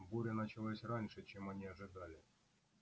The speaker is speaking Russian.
буря началась раньше чем они ожидали